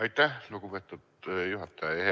Aitäh, lugupeetud juhataja!